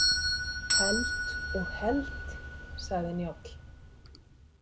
Held og held, sagði Njáll.